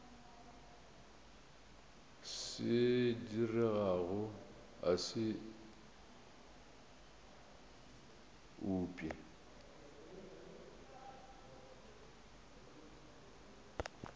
se diregago a se upše